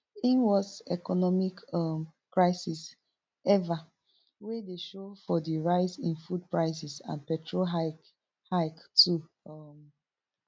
im worst economic um crisis ever wey dey show for di rise in food prices and petrol hike hike too um